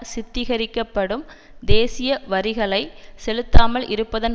சித்தரிக்கப்படும் தேசிய வரிகளை செலுத்தாமல் இருப்பதன்